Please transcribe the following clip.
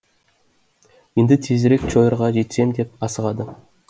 енді тезірек чойрға жетсем деп асығады